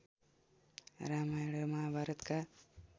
रामायण र महाभारतका